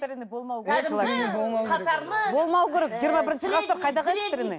болмау керек жиырма бірінші ғасыр қайдағы экстренный